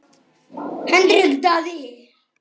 Hendrik Daði.